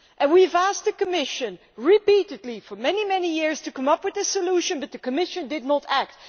We have asked the Commission repeatedly, for many years, to come up with a solution, but the Commission did not act.